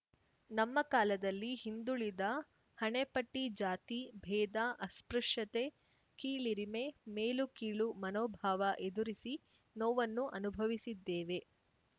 ನಮ್ಮ ಕಾಲದಲ್ಲಿ ಹಿಂದುಳಿದ ಹಣೆಪಟ್ಟಿಜಾತಿ ಭೇದ ಅಸ್ಪೃಶ್ಯತೆ ಕೀಳಿರಿಮೆ ಮೇಲುಕೀಳು ಮನೋಭಾವ ಎದುರಿಸಿ ನೋವನ್ನು ಅನುಭವಿಸಿದ್ದೇವೆ